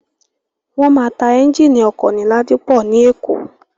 Wọ́n máa ta ẹ́ńgìnì ọkọ̀ ní Ladipọ ní Èkó.